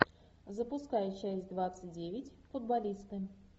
запускай часть двадцать девять футболисты